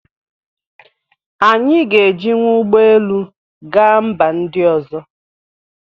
Anyị ga-ejiwu ụgbọ elu gaa mba ndị ọzọ